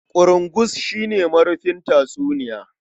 Ƙurungus shi ne marufin tatsuniya.